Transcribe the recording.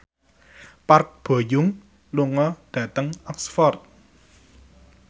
Park Bo Yung lunga dhateng Oxford